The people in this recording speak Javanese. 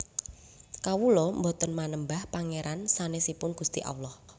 Kawula boten manembah Pangeran sanesipun Gusti Allah